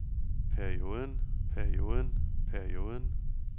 perioden perioden perioden